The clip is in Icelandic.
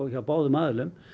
hjá báðum aðilum